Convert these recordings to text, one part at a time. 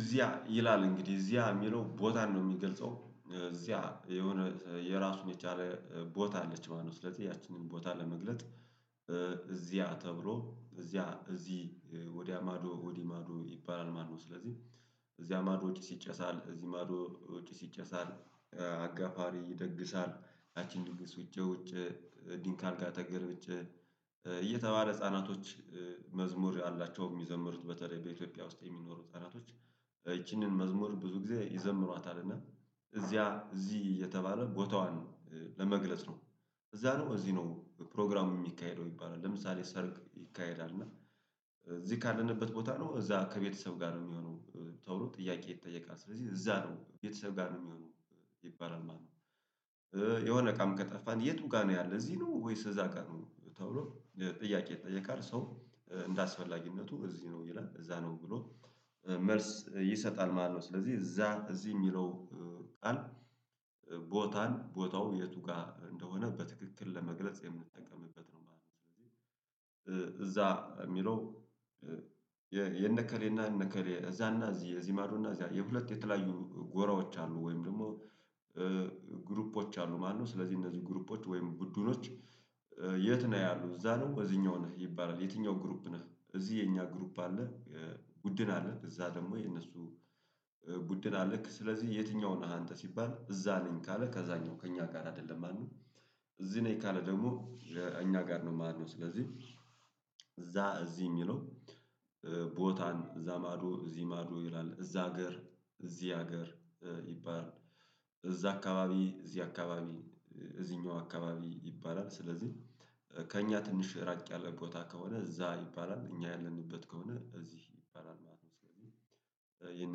እዚያ ይላል እንግዲህ እዚያ የሚለው ቦታን ነው የሚገልጸው እዚያ የሆነ የራሱን የቻለ ቦታ አለች ማለት ነው ስለዚህ ያችንን ቦታ ለመግለጥ እዚያ ተብሎ እዚያ እዚህ ወዲያ ማዶ ወዲህ ማዶ ይባላል ማለት ነው። ስለዚህ እዚያ ማዶ ጪስ ይጨሳል እዚህ ማዶ ጪስ ይጨሳል። አጋፋሪ ይደግሳል ያችን ድንግስ ውጬ ውጬ ከዲንክ አልጋ ተገልብጬ። እየተባለ ህፃናቶች መዝሙር አላቸው የሚዘምሩት በተለይ በኢትዮጵያ ውስጥ የሚኖሩ ህፃናቶች። ይቺንን መዝሙር ብዙ ጊዜ ይዘምሯታል እና እዚያ እዚህ አሰየተባለ ቦታዋን ለመግለጽ ነው። እዛ ነው እዚህ ነው ፕሮግራሙ የሚካሄደው ይባላል። ለምሳሌ ሰርግ ይካሄዳል። እና እዚህ ካለንበት ቦታ ነው እዛ ከቤተሰብ ጋር ነው የሚሆነው ተብሎ ጥያቄ ይጠየቃል ስለዚህ እዛ ነው ቤተሰብ ጋር ነው የሚሆነው። ይባላል። የሆነ እቃም ከጠፋን የቱ ጋር ነው? ያለው እዚህ ነው ወይስ እዛ ቀኑ ተብሎ ጥያቄ ይጠየቃል። ሰው እንደ አስፈላጊነቱ እዚህ ነው ይላል እዛ ነው ብሎ መልስ ይሰጣል ማለት ነው። ስለዚህ እዛ እዚህ የሚለው ቃል ቦታን ቦታው የቱ ጋር እንደሆነ በትክክል ለመግለጽ የምንጠቀምበት ነው ማለት ነው። እዛ የሚለው የነከሌ አሰና እከሌ እዛና እዚህ እዚህ ማዶ እና እዚያ የሁለት የተለያዩ ጎራዎች አሉ ወይም ደግሞ። ግሩፖች አሉ ማለት ነው። ስለዚህ እነዚህ ግሩፖች ወይም ቡድኖች? የት ነው ያሉት እዛ ነው እዚህኛው ነህ ይባላል የትኛው ግሩፕ ነህ እዚህ የኛ ግሩፕ አለ። ቡድን አለ እዛ ደግሞ የነሱ ቡድን አለን ስለዚህ የትኛውን ነሃ አንተ ሲባል እዛ ነኝ ካለ ከዛኛው ከእኛ ጋር አይደለም ማለት ነው። እዚህ ነኝ የካለ ደግሞ እኛ ጋር ነው ማለት ነው። ስለዚህ እዛ እዚህ የሚለው ቦታን እዛ ማዶ እዚህ ማዶ ይላል እዛ ሀገር እዚህ ሀገር። እዛ አካባቢ እዚህ አካባቢ። እዚህኛው አካባቢ ይባላል። ስለዚህ ከእኛ ትንሽ ራቅ ያለ ቦታ ከሆነ እዛ ይባላል እኛ ያለንበት ከሆነ እዚህ ይባላል ማለት ነው። ስለዚህ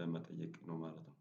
ለመጠየቅ ነው ማለት ነው